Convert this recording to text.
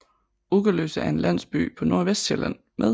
Ugerløse er en landsby på Nordvestsjælland med